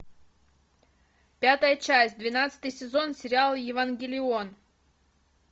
пятая часть двенадцатый сезон сериал евангелион